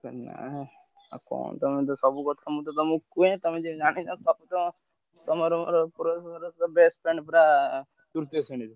ହେ ନା ଆଉ କଣ ତମେତ ସବୁ କଥା ମୁଁ ତ ତମୁକୁ କୁହେ ତମେତ ଜାଣିନ ସବୁତ ତମର ମୋର ପୁରା best friend ପୁରା ତୃତୀୟ ଶ୍ରେଣୀରୁ।